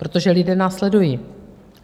Protože lidé nás sledují.